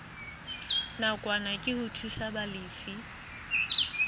nakwana ke ho thusa balefi